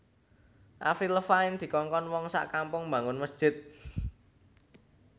Avril Lavigne dikongkon wong sak kampung mbangun mesjid